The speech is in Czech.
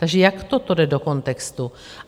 Takže jak toto jde do kontextu?